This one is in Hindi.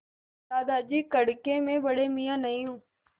दादाजी कड़के मैं बड़े मियाँ नहीं हूँ